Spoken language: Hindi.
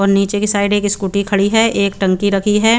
नीचे के साइड एक स्कूटी खड़ी है एक टंकी राखी है।